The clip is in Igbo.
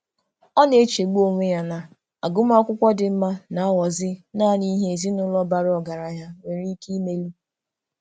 Ọ na-echegbu onwe ya na agụmakwụkwọ dị mma na-aghọzi naanị ihe ezinụụlọ bara ọgaranya nwere ike imeli.